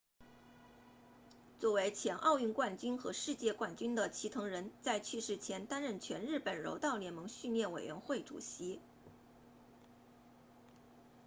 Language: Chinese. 作为前奥运冠军和世界冠军的齐藤仁在去世前担任全日本柔道联盟训练委员会主席